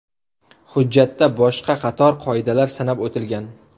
Hujjatda boshqa qator qoidalar sanab o‘tilgan.